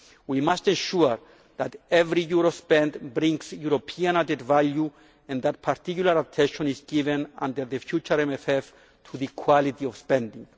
We must ensure that every euro spent brings European added value and that particular attention is given under the future MFF to the quality of spending.